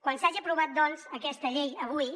quan s’hagi aprovat doncs aquesta llei avui